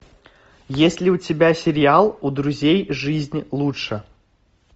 есть ли у тебя сериал у друзей жизнь лучше